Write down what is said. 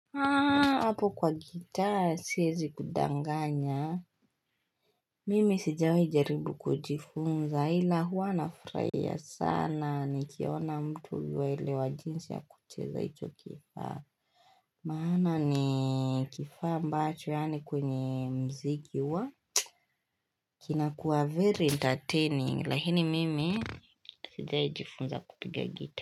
Haa hapo kwa gitaa siyezi kudanganya mimi sijawe jaribu kujifunza hila hua anafraya sana ni kiona mtu waile wajinsi ya kucheza icho kifaa maana ni kifaa mbacho yaani kwenye mziki wa kinakuwa very entertaining lakini mimi sijawe jifunza kupigia gitaa.